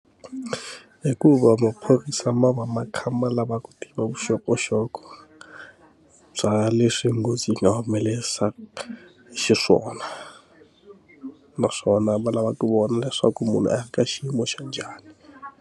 Hikuva maphorisa ma va ma kha ma lava ku tiva vuxokoxoko bya leswi nghozi yi nga humelerisa xiswona naswona va lava ku vona leswaku munhu a ri ka xiyimo xa njhani.